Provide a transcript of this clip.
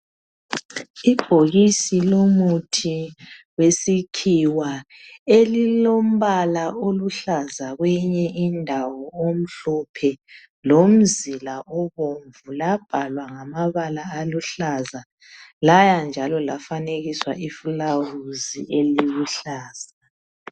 Ibhokisi lomuthi wesikhiwa elilombala oluhlaza kwenye indawo omhlophe lomzila obomvu labhalwa ngamabala aluhlaza laya njalo lafanekiswa iflawuzi eliluhlaza